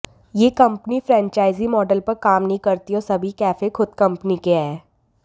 यह company franchisee model पर काम नहीं करती और सभी कैफे खुद कंपनी के हैं